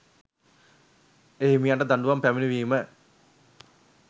එහිමියන්ට දඬුවම් පැමිණවීම